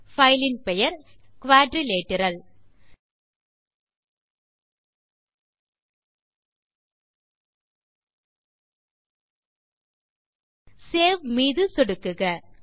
கோப்புப்பெயர் நாற்கரம் சேவ் மீது சொடுக்குக